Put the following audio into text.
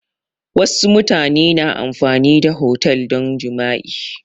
Wassu mutane na amfani da otel don jima'i